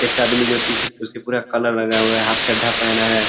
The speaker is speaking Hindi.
एक आदमी जो टी-शर्ट उसके पूरा कलर लगा हुआ है हाफ चड्डा पहना है।